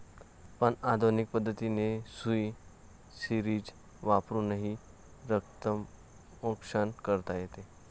पण आधुनिक पद्धतीने सुई, सिरिंज वापरूनही रक्तमोक्षण करता येते.